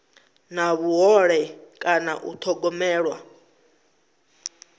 na vhuhole kana u thogomelwa